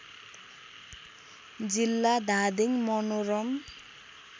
जिल्ला धादिङ मनोरम